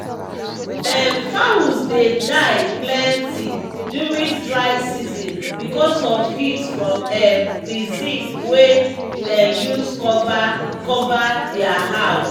um fowls dey dia plenty during dry season because of heat from um the zinc wey dem use cover cover dia house